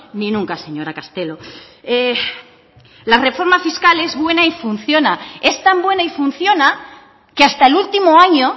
ni nunca señora castelo la reforma fiscal es buena y funciona es tan buena y funciona que hasta el último año